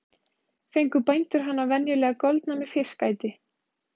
Fengu bændur hana venjulega goldna með fiskæti.